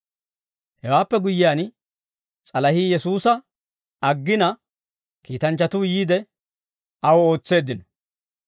Hewaappe guyyiyaan, s'alahii Yesuusa aggina, kiitanchchatuu yiide, aw ootseeddino.